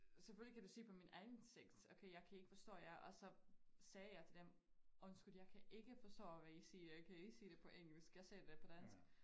Selvfølgelig kan du se på min ansigt okay jeg kan ikke forstå jer og så sagde jeg til dem undskyld jeg kan ikke forstå hvad I siger kan I sige det på engelsk jeg sagde det på dansk